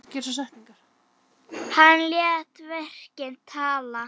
Hann lét verkin tala.